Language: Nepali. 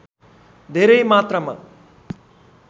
धेरै मात्रामा